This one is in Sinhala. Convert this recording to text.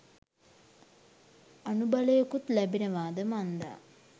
අනුබලයකුත් ලැබෙනවාද මන්දා.